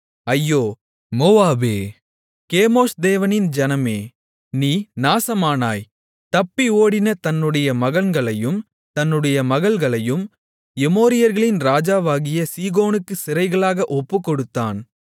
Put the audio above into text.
ஐயோ மோவாபே கேமோஷ் தேவனின் ஜனமே நீ நாசமானாய் தப்பி ஓடின தன்னுடைய மகன்களையும் தன்னுடைய மகள்களையும் எமோரியர்களின் ராஜாவாகிய சீகோனுக்குச் சிறைகளாக ஒப்புக்கொடுத்தான்